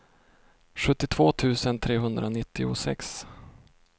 sjuttiotvå tusen trehundranittiosex